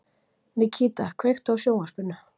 Nikíta, kveiktu á sjónvarpinu.